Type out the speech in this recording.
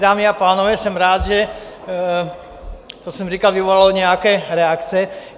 Dámy a pánové, jsem rád, že to, co jsem říkal, vyvolalo nějaké reakce.